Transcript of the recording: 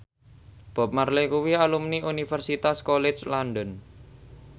Bob Marley kuwi alumni Universitas College London